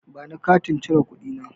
Bani Katin cire kuɗi na.